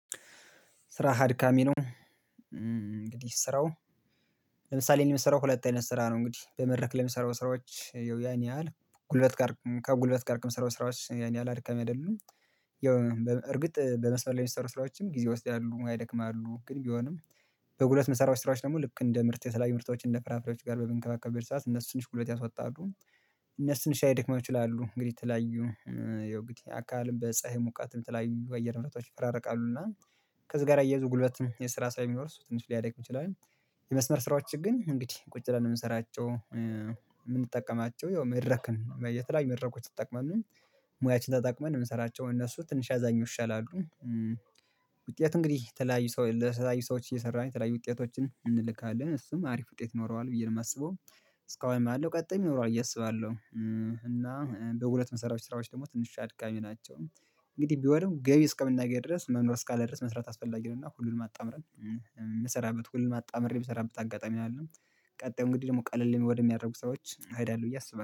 ስራህ አድካሚ ነው። እንግዲህ ስራው ለምሳሌ የምሰራው ሁለት አይነት ስራ ነው እንግዲህ በመድረክ ለምሰራው ስራዎች ያው ያን ያህል ጉልበት ጋር ከጉልበት ጋር ከምሰራው ስራዎች ያን ያህል አድካሚ አይደሉም። ያው እርግጥ በመስመር ላይ የሚሰሩ ስራዎችም ጊዜ ይወስዳሉ ያደክማሉ ግን ቢሆንም በጉልበት ምሰሩ ስራዎች ደግሞ ልክ እንደ ምርት የተለያዩ ምርቶች እንደ ፍራፍራዎች ጋር በምንከባከብ ሰዓት እነሱ ትንሽ ጉልበት ያስወጣሉ እነሱ ትንሽ ሊያደክሙ ይችላሉ። እንግዲህ የተለያዩ ያው እንግዲህ አካልም በፀሀይ ሙቀትም የተለያዩ በአየር ሁኔታዎች ይፈራረቃሉ እና ከዚህ ጋር አያይዙ ጉልበትም የስራ ስለምወስድ እሱ ትንሽ ሊያደክም ይችላል። የመስመር ስራዎችን ግን እንግዲህ ቁጭ ብለን ነው የምንሰራቸው። የምንጠቀማቸው መድረክን የተለያዩ መድረኮች ትጠቅመን ሙያችን ተጠቅመን የምንሰራቸው እነሱ ትንሽ ከሚያኛው ይሻላሉ። ውጤት እንግዲህ የተለያዩ ሰው ለተለያዩ ሰዎች እየሰራን የተለያዩ ውጤቶችን እንልካለን እሱም አሪፍ ውጤት ኖረዋል ብዬ ነው የማስበው እስካሁንም አሉ ቀጣይም ይኖራል ብዬ አስባለሁ። እና በጉልበት የምሰሩት ስራዎች ደግሞ ትንሽ አድቃሚ ናቸው። እንግዲህ ቢሆንም ገቢ እስከምናገኝ ድረስ መኖር እስካለ ድረስ መስራት አስፈላጊ ነው። እና ሁሉንም አጣምሬ የምሰራበት ሁሉንም አጣምሬ የምሰራበት አጋጣሚ አለን። ቀጥሎ እንግዲህ ደግሞ ቀለል ወደሚያደርጉ ሰዎች እሄዳለሁ ብዬ አስባለሁ